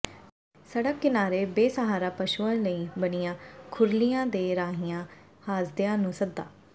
ਸੜਕ ਕਿਨਾਰੇ ਬੇਸਹਾਰਾ ਪਸ਼ੂਆਂ ਲਈ ਬਣੀਆਂ ਖੁਰਲੀਆਂ ਦੇ ਰਹੀਆਂ ਹਾਸਦਿਆਂ ਨੂੰ ਸੱਦਾ